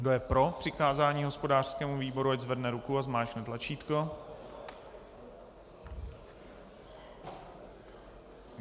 Kdo je pro přikázání hospodářskému výboru, ať zvedne ruku a zmáčkne tlačítko.